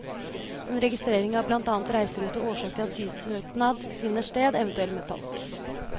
En registrering av blant annet reiserute og årsak til asylsøknad finner sted, eventuelt med tolk.